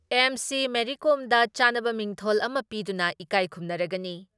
MC. Mary ꯀꯣꯝꯗ ꯆꯥꯟꯅꯕ ꯃꯤꯡꯊꯣꯜ ꯑꯃ ꯄꯤꯗꯨꯅ ꯏꯀꯥꯏ ꯈꯨꯝꯅꯔꯒꯅꯤ ꯫